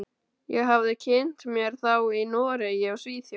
Ég hafði kynnt mér þá í Noregi og Svíþjóð.